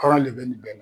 Hɔrɔn de bɛ nin bɛɛ la